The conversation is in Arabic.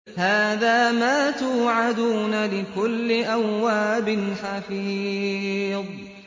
هَٰذَا مَا تُوعَدُونَ لِكُلِّ أَوَّابٍ حَفِيظٍ